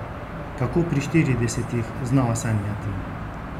Kako pri štiridesetih znova sanjati?